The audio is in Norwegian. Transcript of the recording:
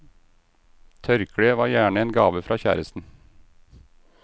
Tørkleet var gjerne en gave fra kjæresten.